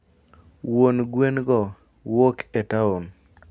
wuon gwengo wuok e taon